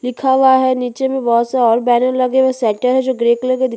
लिखा हुआ है नीचे में बहुत सारे बैनर लगे हुए शटर ग्रे कलर का दि --